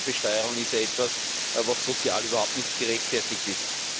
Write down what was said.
Die Doppelbesteuerung ist etwas, was sozial überhaupt nicht gerechtfertigt ist.